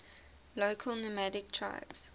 local nomadic tribes